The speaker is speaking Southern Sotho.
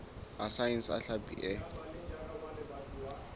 a saense a hlapi e